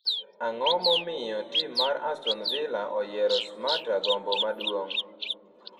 ang'o momiyo tim mar Aston Vila oyiero Smatta gombo maduong'